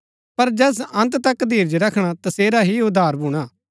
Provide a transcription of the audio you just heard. पर जैस अन्त तक धीरज रखणा तसेरा ही उद्धार भूणा